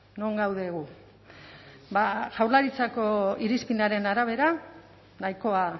non gaude gu jaurlaritzako irizpidearen arabera nahikoa